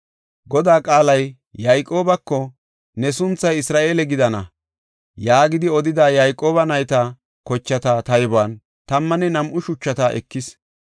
Godaa qaalay Yayqoobako, “Ne sunthay Isra7eele gidana” yaagidi odida, Yayqooba nayta kochata taybuwan tammanne nam7u shuchata ekis.